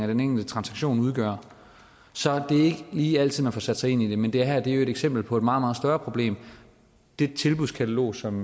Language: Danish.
den enkelte transaktion udgør så det er ikke lige altid man får sat sig ind i det men det her er jo et eksempel på et meget meget større problem det tilbudskatalog som